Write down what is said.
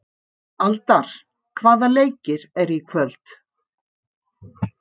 Aldar, hvaða leikir eru í kvöld?